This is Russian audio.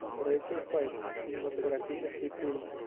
рэйчел вайс кинематографический фильм